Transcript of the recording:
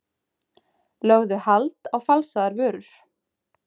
Lögðu hald á falsaðar vörur